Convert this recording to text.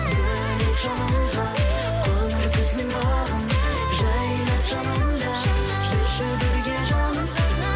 бөлеп жалынға қоңыр күздің бағын жайнап жанымда жүрші бірге жаным